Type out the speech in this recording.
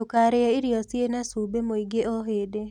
Ndũkarĩe irio ciĩna cumbĩ mũingĩ o hĩndĩ